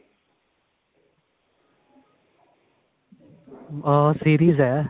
ah series ਹੈ